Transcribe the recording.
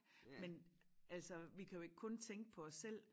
Men altså vi kan jo ikke kun tænke på os selv